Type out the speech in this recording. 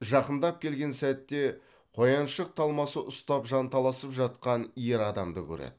жақындап келген сәтте қояншық талмасы ұстап жанталасып жатқан ер адамды көреді